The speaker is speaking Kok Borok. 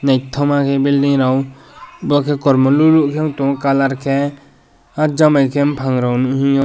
naitokhma bilding rok bo ke kormo lolo wngtangko colour ke o jangbai bopang nihiyo.